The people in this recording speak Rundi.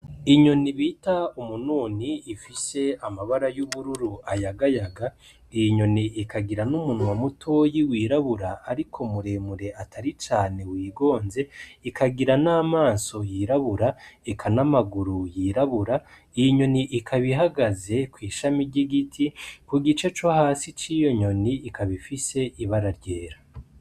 Inyoni bita umununi ifise amabara y'ubururu ayagayaga ,iyi nyoni ikagira n'umunwa mutoyi wirabura ariko muremure cane wigonze, ikagira n'amaso yirabura eka n'amaguru yirabura, iy'inyoni ikab'ihagaze kw'ishami ry'igiti, kugice co hasi ciyo nyoni ikab'ifise ibara ryera.